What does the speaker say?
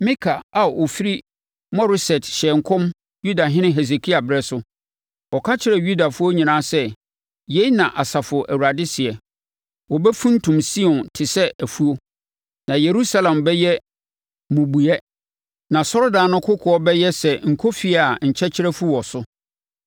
“Mika a ɔfiri Moreset hyɛɛ nkɔm Yudahene Hesekia berɛ so. Ɔka kyerɛɛ Yudafoɔ nyinaa sɛ, ‘Yei na Asafo Awurade seɛ: “ ‘Wɔbɛfuntum Sion te sɛ afuo. Na Yerusalem bɛyɛ mmubuiɛ na asɔredan no kokoɔ bɛyɛ sɛ nkɔfie a nkyɛkyerɛ afu wɔ so.’